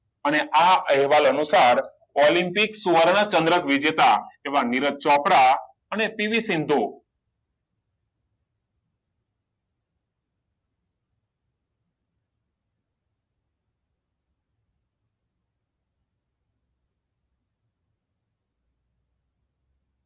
અને આ અહેવાલ અનુસાર ઓલિમ્પિક સુવર્ણચંદ્રક વિજેતા એવા નીરજ ચોપરા અને